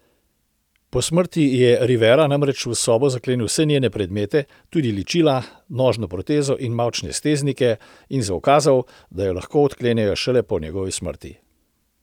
Po smrti je Rivera namreč v sobo zaklenil vse njene predmete, tudi ličila, nožno protezo in mavčne steznike, in zaukazal, da jo lahko odklenejo šele po njegovi smrti.